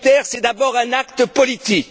militaire, c'est d'abord un acte politique.